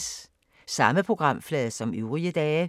Samme programflade som øvrige dage